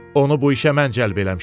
Onu bu işə mən cəlb eləmişəm.